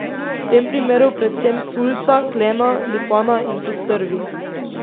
V tem primeru predvsem sulca, klena, lipana in postrvi.